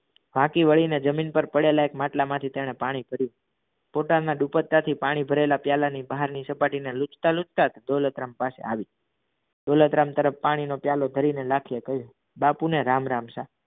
ફાકી વડી ને જમીન પર પાડેલા માટલામાંથી તેને પાણી ભર્યું પોતાના દુપટ્ટાથી પાણી ભરેલા પ્યાલા ની બહાર ની સપાટી ને લૂછતા લૂછતા જ દોલતરામ પાછા આવ્યા દોલતરામ તરફ પાણીનો પ્યાલો ભરી લાખીએ કહ્યું બાપુ ને રામ રામ છે.